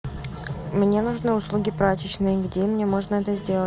мне нужны услуги прачечной где мне можно это сделать